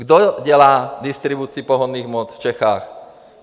Kdo dělá distribuci pohonných hmot v Čechách?